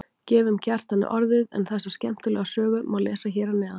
Gefum Kjartani orðið en þessa skemmtilegu sögu má lesa hér að neðan.